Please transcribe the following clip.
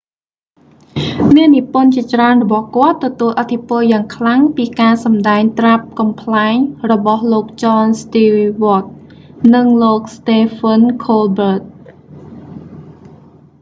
អ្នកនិពន្ធជាច្រើនរបស់គាត់ ទទួលឥទ្ធិពលយ៉ាងខ្លាំងពីការសម្ដែងត្រាប់កំប្លែងរបស់លោក ចន ស្ទីវ៉ដ jon stewart និង លោក ស្តេហ្វិន ខូលប៊ើត stephen colbert